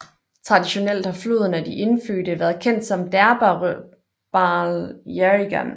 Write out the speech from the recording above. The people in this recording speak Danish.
Traditionelt har floden af de indfødte været kendt som Derbarl Yerrigan